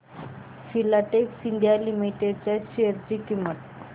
Filatex India limited च्या share ची किंमत